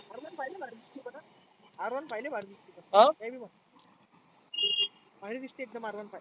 Rone five लाई भारी भारी दिसते Rone five